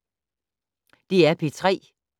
DR P3